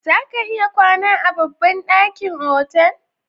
Za ka iya kwana a babban ɗakin otal?